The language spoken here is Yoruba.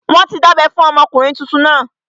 Wọ́n ti dábẹ́ fún ọmọkùnrin tuntun náà